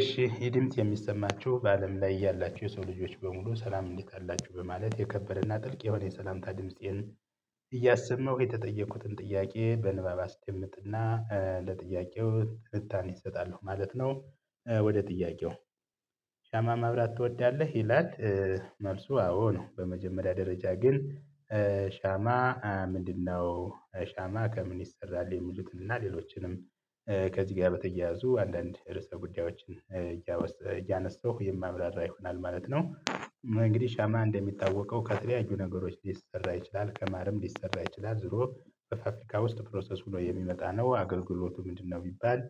እሺ ይህ ድምጽ የሚሰማችሁ በአለም ላይ ያላችሁ የሰው ልጆች በሙሉ ሰላም እንዴት አላችሁ በማለት የከበረና ጥልቅ የሆነ የሰላምታ ድምፄን እያሰመው የተጠየቁትን ጥያቄ በንባባ አስደምጥና ለጥያቄው ትንታኔ እሰጣለሁ ማለት ነው። ወደ ጥያቄው ሻማ ማብራት ትወዳለህ ይላል? መልሱ አዎ ነው። በመጀመሪያ ደረጃ ግን ሻማ ምንድነው? ሻማ ከምን ይሰራል የሚሉትንና ሌሎችንም ከዚህ ጋር በተያያዙ አንዳንድ ርዕሰ ጉዳዮችን እያነሳሁ የማብራራ ይሆናል ማለት ነው። እንግዲህ ሻማ እንደሚታወቀው ከተለያዩ ነገሮች ሊሰራ ይችላል ከማርም ሊሰራ ይችላል ዙሮ በፋብሪካ ውስጥ ፕሮሰስ ሆኖ የሚመጣ ነው አገልግሎቱ ምንድነው? ቢባል?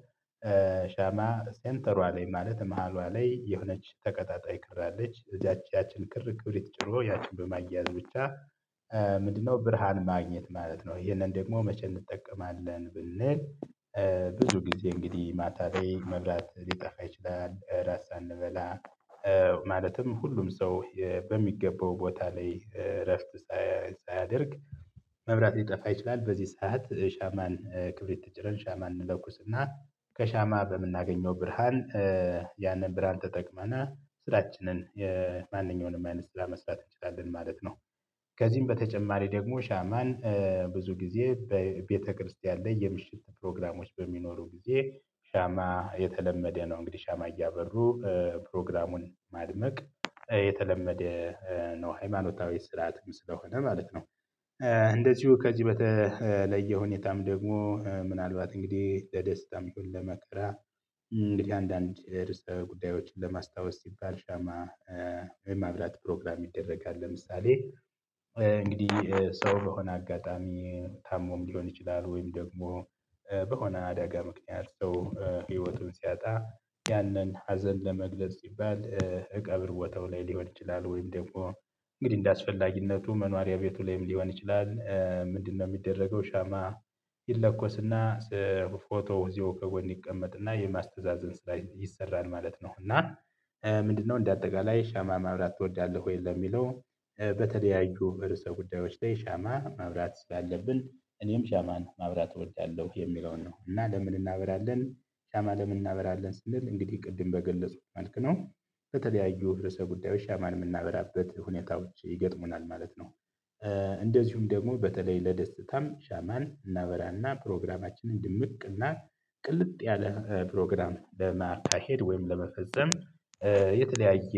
ሻማ ሴንተሯ ላይ ማለት መሃሏ ላይ የሆነች ተቀጣጣይ ክር አለች እያችን ክር ክብሪት ጭሮ ያችን በማያያዝ ብቻ። ምንድነው ብርሃን ማግኘት ማለት ነው። ይሄንን ደግሞ መቼ እንጠቀማለን ብንል? ብዙ ጊዜ እንግዲህ ማታ ላይ መብራት ሊጠፋ ይችላል ራስ ሳንበላ። ማለትም ሁሉም ሰው በሚገባው ቦታ ላይ እረፍት። ሳያደርግ መብራት ሊጠፋ ይችላል በዚህ ሰዓት ሻማን ክብሪት ጭረን ሻማ እንለኩስና ከሻማ በምናገኘው ብርሃን ያንን ብርሃን ተጠቅመናል ስራችንን የማንኛውንም አይነት ስራ መስራት እንችላለን ማለት ነው። ከዚህም በተጨማሪ ደግሞ ሻማን ብዙ ጊዜ በቤተክርስቲያን ላይ የምሽት ፕሮግራሞች በሚኖሩ ጊዜ ሻማ የተለመደ ነው እንግዲህ ሻማ እያበሩ ፕሮግራሙን ማድመቅ የተለመደ ነው ሃይማኖታዊ ስርዓትም ስለሆነ ማለት ነው። እንደዚሁ ከዚህ በተለየ ሁኔታም ደግሞ ምናልባት እንግዲህ ለደስታም ለመከራ እንግዲህ አንዳንድ ርዕሰ ጉዳዮችን ለማስታወስ ሲባል ሻማ። የማብላት ፕሮግራም ይደረጋል ለምሳሌ። እንግዲህ ሰው በሆነ አጋጣሚ ታሞም ሊሆን ይችላል ወይም ደግሞ በሆነ አደጋ ምክንያት ሰው ህይወቱን ሲያጣ። ያንን ሀዘን ለመግለጽ ሲባል እቀብር ቦታው ላይ ሊሆን ይችላል ወይም ደግሞ እንግዲህ እንደአስፈላጊነቱ መኖሪያ ቤቱ ላይም ሊሆን ይችላል። ምንድነው የሚደረገው ሻማ? ይለኮስና ፎቶ እዘያው ከጎን ይቀመጥና የማስተዛዘን ላይ ይሰራል ማለት ነው። እና ምንድነው እንደ አጠቃላይ ሻማ ማብራት ትወዳለህ ወይ ለሚለው? በተለያዩ በርዕሰ ጉዳዮች ላይ ሻማ ማብራት ስላለብን እኔም ሻማን ማብራት እወዳለሁ የሚለውን ነው። እና ለምን እናበራለን? ሻማ ለምን እናበራለን? ስንል እንግዲህ ቅድም በገለጹ መልክ ነው በተለያዩ ርዕሰ ጉዳዮች ሻማን የምናበራበት ሁኔታዎች ይገጥሙናል ማለት ነው። እንደዚሁም ደግሞ በተለይ ለደስታም ሻማን እና እናበራና ፕሮግራማችንን ድምቅና ቅልጥ ያለ ፕሮግራም ለማካሄድ ወይም ለመፈጸም። የተለያየ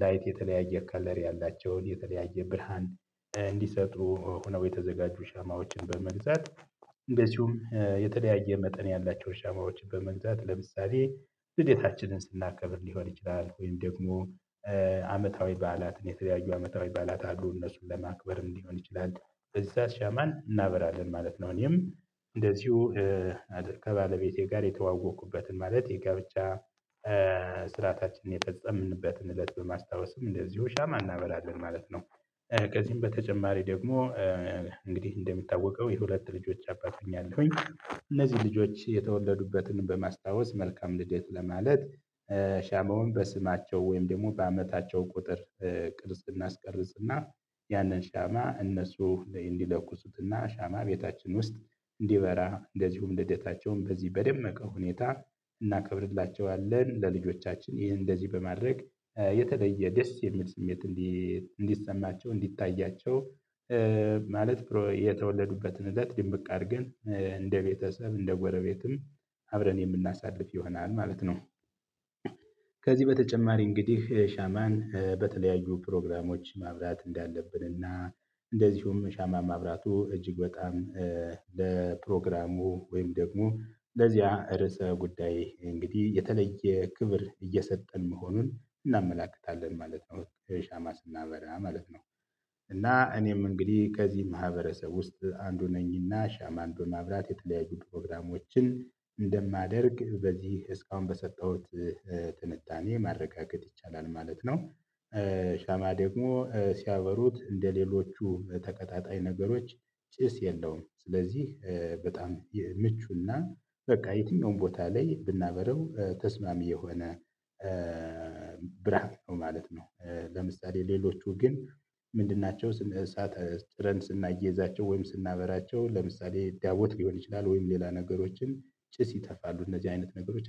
ላይት የተለያየ ከለሪ ያላቸውን የተለያየ ብርሃን እንዲሰጡ ሆነው የተዘጋጁ ሻማዎችን በመግዛት። እንደዚሁም የተለያየ መጠን ያላቸውን ሻማዎችን በመግዛት ለምሳሌ ልደታችንን ስናከ ደግሞ አመታዊ በዓላትን የተለያዩ አመታዊ በዓላት አሉ እነሱን ለማክበር እንዲሆን ይችላል እዛ ሻማን እናበራለን ማለት ነው። እኔም እንደዚሁ ከባለቤቴጋር የተዋወቁበትን ማለት የጋብቻ ስርአታችንን የፈፀምንበትን እለት በማስታወስም እንደዚሁ ሻማ እናበራለን ማለት ነው። ከዚህም በተጨማሪ ደግሞ እንግዲህ እንደሚታወቀው የሁለት ልጆች አባት ሆኛለሁኝ እነዚህ ልጆች የተወለዱበትን በማስታወስ መልካም ልደት ለማለት። ሻማውን በስማቸው ወይም ደግሞ በአመታቸው ቁጥር ቅርጽ እናስቀርጽና ያንን ሻማ እነሱ ላይ እንዲለቅሱትና ሻማ ቤታችን ውስጥ እንዲበራ እንደዚሁም ልደታቸውን በዚህ በደመቀ ሁኔታ እናከብርላቸዋለን ለልጆቻችን ይህን እንደዚህ በማድረግ የተለየ ደስ የሚል ስሜት እንዲሰማቸው እንዲታያቸው ማለት የተወለዱበትን እለት ድንብቅ አድርገን እንደ ቤተሰብ እንደ ጎረቤትም አብረን የምናሳልፍ ይሆናል ማለት ነው። ከዚህ በተጨማሪ እንግዲህ ሻማን በተለያዩ ፕሮግራሞች ማብራት እንዳለብን እና እንደዚሁም ሻማ ማብራቱ እጅግ በጣም ለፕሮግራሙ ወይም ደግሞ ለዚያ ርዕሰ ጉዳይ እንግዲህ የተለየ ክብር እየሰጠን መሆኑን እናመላክታለን ማለት ነው ሻማ ስናበራ ማለት ነው። እና እኔም እንግዲህ ከዚህ ማህበረሰብ ውስጥ አንዱ ነኝና ሻማን ማብላት የተለያዩ ፕሮግራሞችን እንደማደርግ በዚህ እስካሁን በሰጠሁት ትንታኔ ማረጋገጥ ይቻላል ማለት ነው። ሻማ ደግሞ ሲያበሩት እንደሌሎቹ ተቀጣጣይ ነገሮች ጭስ የለውም ስለዚህ በጣም ምቹና በቃ የትኛውም ቦታ ላይ ብናበረው ተስማሚ የሆነ ብርሃን ነው ማለት ነው። ለምሳሌ ሌሎቹ ግን ምንድን ናቸው ስንት? እሳት ስናየይዛቸውእ ወይም ስናበራቸው ለምሳሌ ዳያቦት ሊሆን ይችላል ወይም ሌላ ነገሮችን ጭስ ይተፋሉ እነዚህ አይነት ነገሮች